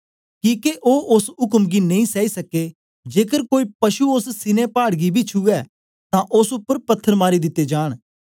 किके ओ ओस उक्म गी नेई सैई सक्के जेकर कोई पशु ओस सीनै पाड़ गी बी छुऐ तां ओस उपर पत्थर मारी दिते जांन